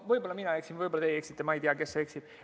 Võib-olla mina eksin, võib-olla teie eksite, ma ei tea, kes eksib.